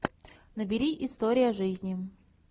набери история жизни